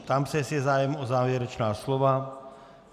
Ptám se, jestli je zájem o závěrečná slova.